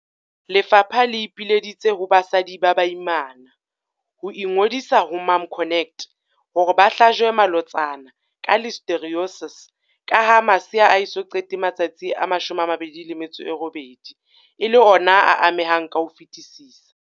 Lefapha le ipileditse ho basadi ba baimana ho ingodisa ho MomConnect hore ba hlajwe malotsana ka Listeriosis kaha masea a eso qete matsatsi a 28 e le ona a amehang ka ho fetisisa.